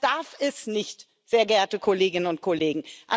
Das darf es nicht, sehr geehrte Kolleginnen und Kollegen.